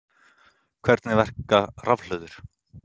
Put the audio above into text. Hvernig verka rafhlöður?